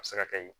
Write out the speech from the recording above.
A bɛ se ka kɛ yen